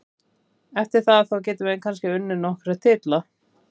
Eftir það, þá getum við kannski unnið okkar titla.